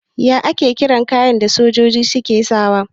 Ya ake kiran kayan da sojoji suke sakawa?